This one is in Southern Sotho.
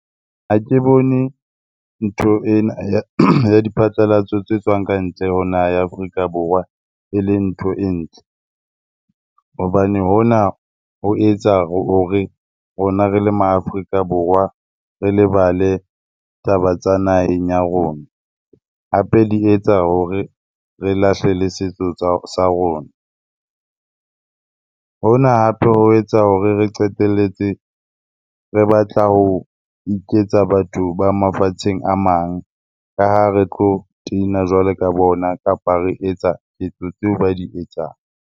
Ha ke bone ntho ena ya diphatlalatso tse tswang kantle ho naha ya Afrika Borwa, eleng ntho e ntle. Hobane hona ho etsa hore rona re le maAfrika Borwa re lebale taba tsa naheng ya rona. Hape di etsa hore re lahle le setso sa rona. Hona hape ho etsa hore re qeteletse re batla ho iketsa batho ba mafatsheng a mang, ka ha re tlo jwalo ka bona kapa re etsa ketso tseo ba di etsang.